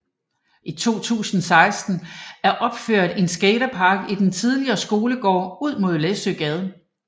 I 2016 er opført en skatepark i den tidligere skolegård ud mod Læssøesgade